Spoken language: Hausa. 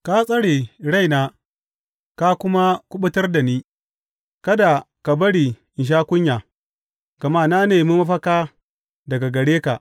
Ka tsare raina ka kuma kuɓutar da ni; kada ka bari in sha kunya, gama na nemi mafaka daga gare ka.